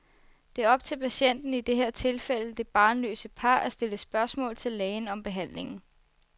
Det er op til patienten, i det her tilfælde det barnløse par at stille spørgsmål til lægen om behandlingen.